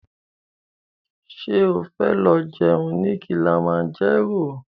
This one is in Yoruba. Ṣo fẹ́ lọ jẹun ní Kilimanjaro?